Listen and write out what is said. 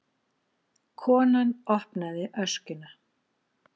Konan opnaði öskjuna.